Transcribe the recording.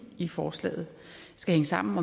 i forslaget skal hænge sammen